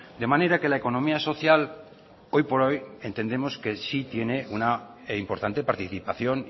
de manera que la economía social hoy por hoy entendemos que sí tiene una importante participación